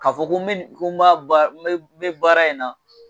Ka fɔ ko n bɛ baara in na